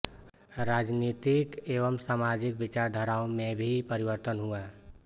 राजनीतिक एवं सामाजिक विचारधाराओं में भी परिवर्तन हुआ